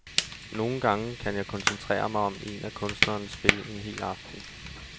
Nogle gange kan jeg koncentrere mig om en af kunstnernes spil en hel aften.